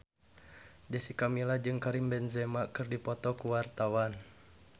Jessica Milla jeung Karim Benzema keur dipoto ku wartawan